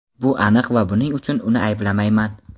Bu aniq va buning uchun uni ayblamayman.